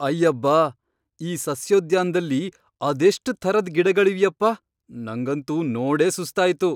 ಅಯ್ಯಬ್ಬಾ! ಈ ಸಸ್ಯೋದ್ಯಾನ್ದಲ್ಲಿ ಅದೆಷ್ಟ್ ಥರದ್ ಗಿಡಗಳಿವ್ಯಪ್ಪಾ, ನಂಗಂತೂ ನೋಡೇ ಸುಸ್ತಾಯ್ತು!